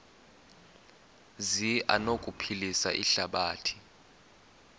zi anokuphilisa ihlabathi